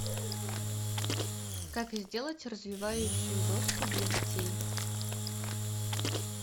как сделать развивающую доску для детей